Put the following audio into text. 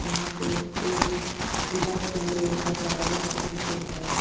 यहां पे एक जिला सेवा योजना कार्यालय लखीमपुर है।